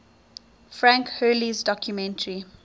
frank hurley's documentary